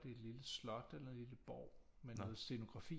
Det er et lille slot eller en lille borg med noget scenografi